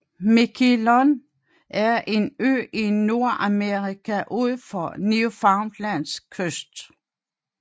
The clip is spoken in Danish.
Miquelon er en ø i Nordamerika ud for Newfoundlands kyst